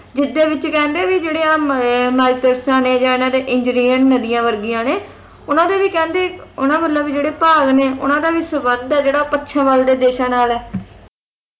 ਜਿਸਦੇ ਵਿੱਚ ਕਹਿੰਦੇ ਆਹ ਜਿਹੜੇ ਮਈ`ਮਾਇਕਿਰਸਾਂ ਨੇ ਆ ਇਨ੍ਹਾਂ ਦੇ ਇੰਗਰੇਨ ਨਦੀਆਂ ਵਰਗੀਆਂ ਨੇ ਉਨ੍ਹਾਂ ਦੇ ਵੀ ਕਹਿੰਦੇ ਉਨ੍ਹਾਂ ਵੱਲੋਂ ਵੀ ਜਿਹੜੇ ਭਾਗ ਨੇ ਉਨ੍ਹਾਂ ਦਾ ਵੀ ਸੰਬੰਧ ਹੈ ਪੱਛਮ ਵੱਲ ਦੇ ਦੇਸ਼ਾਂ ਨਾਲ